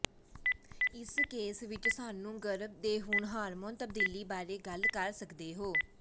ਇਸ ਕੇਸ ਵਿਚ ਸਾਨੂੰ ਗਰਭ ਦੇ ਗੁਣ ਹਾਰਮੋਨ ਤਬਦੀਲੀ ਬਾਰੇ ਗੱਲ ਕਰ ਸਕਦੇ ਹੋ